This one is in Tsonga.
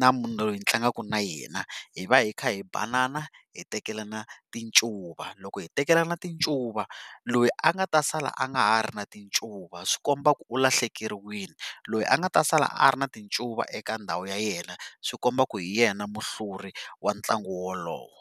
na munhu loyi ndzi tlangaku na yena hi va hi kha hi banana hitekelana tincuva loko hitekelana tincuva loyi a nga ta sala a nga ha ri na tincuva swikomba ku u lahlekeriwile loyi a nga ta sala a ri na tincuva eka ndhawu ya yena swikomba ku hi yena muhluri wa ntlangu wolowo.